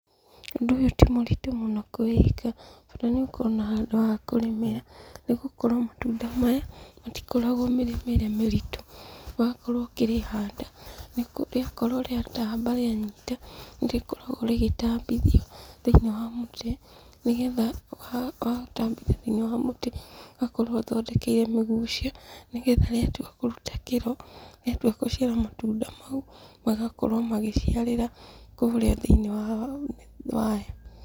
Ũndũ ũyũ timũritũ mũno kũwĩka, bata nĩũkorwo na handũ hakũrĩmĩra, nĩgũkorwo matunda maya, matikoragwo mĩrĩmĩre mĩritũ. Wakorwo ũkĩrĩhanda, rĩakorwo rĩatamba rĩanyita, nĩrĩkoragwo rĩgĩtambithio thĩinĩ wa mũtĩ, nĩgetha watambia thĩinĩ wa mũtĩ, ũgakorwo ũthondekeire mĩgucia, nĩgetha rĩatua kũruta kĩro, rĩatua gũciara matunda mau, magakorwo magĩciarĩra kũrĩa thĩinĩ wayo.